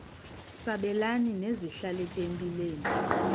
sabelani zenihlal etempileni